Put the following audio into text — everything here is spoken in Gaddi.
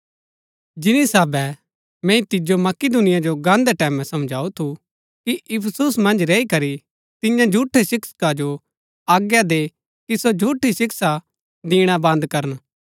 जिनी साहबै मैंई तिजो मकिदुनिया जो गान्हदै टैमैं समझऊ थू कि इफिसुस मन्ज रैई करी तिन्या झूठै शिक्षका जो आज्ञा दे कि सो झूठी शिक्षा दिणा बन्द करन